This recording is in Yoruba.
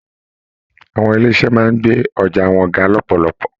Àwọn ilé iṣẹ máa n gbé ọjà wọn ga lọpọlọpọ.